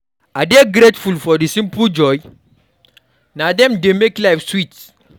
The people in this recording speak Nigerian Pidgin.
I dey grateful for the simple joys; na dem dey make life sweet.